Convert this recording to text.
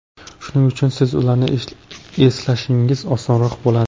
Shuning uchun siz ularni eslashingiz osonroq bo‘ladi.